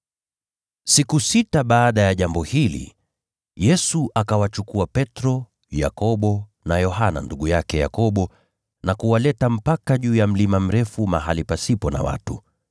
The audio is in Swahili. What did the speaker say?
Siku sita baada ya jambo hili, Yesu akawachukua Petro, Yakobo na Yohana ndugu yake Yakobo, akawapeleka juu ya mlima mrefu peke yao.